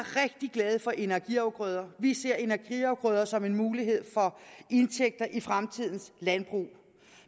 glade for energiafgrøder vi ser energiafgrøder som en mulighed for indtægter i fremtidens landbrug